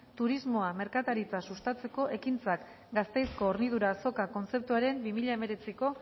turismoa merkataritza sustatzeko ekintzak gasteizko hornidura azoka kontzeptuaren bi mila hemeretziko